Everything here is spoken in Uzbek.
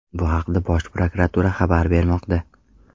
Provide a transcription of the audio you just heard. Bu haqda Bosh prokuratura xabar bermoqda .